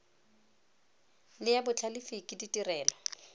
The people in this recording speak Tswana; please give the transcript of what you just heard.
le ya botlhalefi ke ditirelo